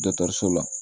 so la